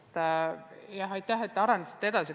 Aitäh, et te seda teemat edasi arendasite!